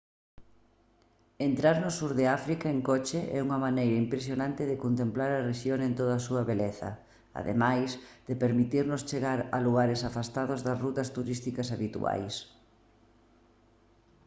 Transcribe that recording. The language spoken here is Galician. entrar no sur de áfrica en coche é unha maneira impresionante de contemplar a rexión en toda a súa beleza ademais de permitirnos chegar a lugares afastados das rutas turísticas habituais